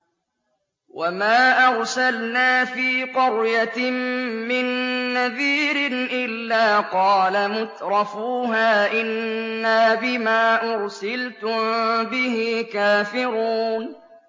وَمَا أَرْسَلْنَا فِي قَرْيَةٍ مِّن نَّذِيرٍ إِلَّا قَالَ مُتْرَفُوهَا إِنَّا بِمَا أُرْسِلْتُم بِهِ كَافِرُونَ